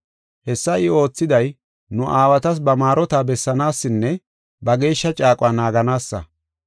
Hessa I oothiday nu aawatas ba maarota bessanaasinne, ba geeshsha caaquwa naaganaassa.